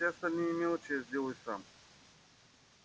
а все остальные мелочи я сделаю сам